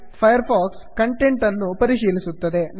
fire fox content ಅನ್ನು ಪರಿಶೀಲಿಸುತ್ತದೆ